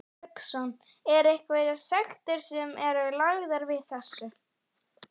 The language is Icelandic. Hafsteinn Hauksson: Er einhverjar sektir sem eru lagðar við þessu?